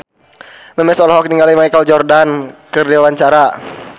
Memes olohok ningali Michael Jordan keur diwawancara